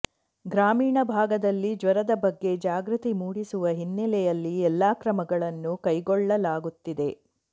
ಗ್ರಾಮೀಣ ಭಾಗದಲ್ಲಿ ಜ್ವರದ ಬಗ್ಗೆ ಜಾಗೃತಿ ಮೂಡಿಸುವ ಹಿನ್ನೆಲೆಯಲ್ಲಿ ಎಲ್ಲಾ ಕ್ರಮಗಳನ್ನು ಕೈಗೊಳ್ಳಲಾಗುತ್ತಿದೆ